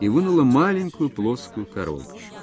и вынула маленькую плоскую коробочку